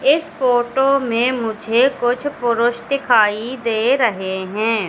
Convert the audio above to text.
इस फोटो मे मुझे कुछ पुरुष दिखाई दे रहे है।